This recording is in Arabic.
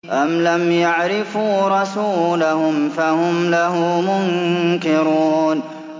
أَمْ لَمْ يَعْرِفُوا رَسُولَهُمْ فَهُمْ لَهُ مُنكِرُونَ